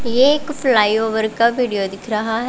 एक फ्लावर का वीडियो दिख रहा है।